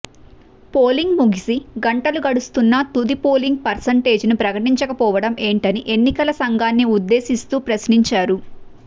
polling ముగిసి గంటలు గడుస్తున్నా తుది పోలింగ్ పర్సంటేజీని ప్రకటించకపోవడం ఏంటని ఎన్నికల సంఘాన్ని ఉద్దేశిస్తూ ప్రశ్నించారు